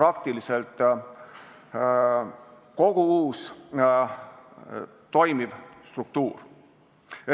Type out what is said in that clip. praktiliselt kogu uus toimiv struktuur.